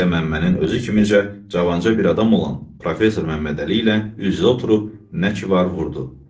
Lap elə Məmmənin özü kimi də cavanca bir adam olan professor Məmmədəli ilə üz-üzə oturub nə ki var vurdu.